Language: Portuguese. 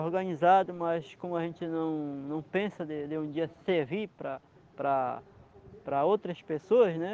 organizado, mas como a gente não não pensa de de um dia servir para para outras pessoas, né?